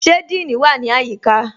Ṣe Díìní wa ni ayíkà?